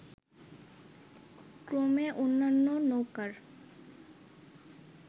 ক্রমে অন্যান্য নৌকার